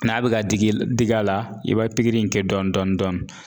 N'a bɛ ka digi digi a la i bɛ pikiri in kɛ dɔɔni dɔɔni dɔɔni.